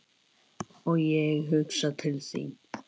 Og ég hugsa til þín.